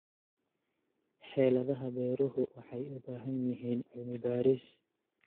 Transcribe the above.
Xeeladaha beeruhu waxay u baahan yihiin cilmi-baaris.